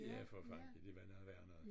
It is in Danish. Ja for fanden ja det var noget værre noget